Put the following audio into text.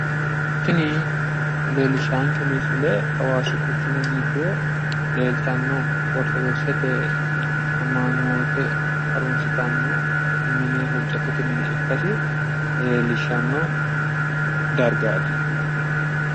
Tini leellishaanke misile hawaasi quchumi giddo leeltanno ortodokisete amanyoote harunsitanno mine, huucattote mine ikkase leellishshanno dargaati.